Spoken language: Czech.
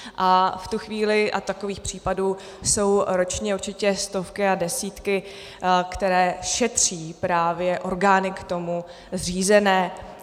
A v tu chvíli - a takových případů jsou ročně určitě stovky a desítky, které šetří právě orgány k tomu zřízené.